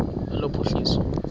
lophuhliso